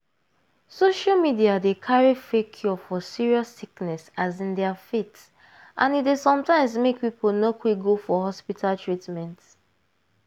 social media dey carry fake cure for serious sickness as in their faith and e dey sometimes make people no quick go for hospital treatment.